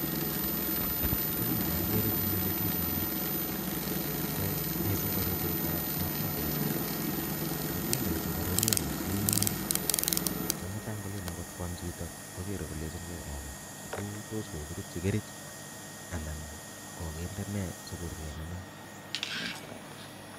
Tukun cheokere en yuu ko mising ko ruretab matundechu, matundechu koruryo kosir nemutai ngolen akot kwaam chito kokere kolenching'e acha toos kokirutyi Kerich anan kokinde nee sikoruryo nenoo.